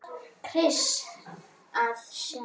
Skirrst við að sjá.